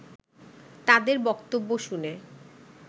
তাদের বক্তব্য শুনে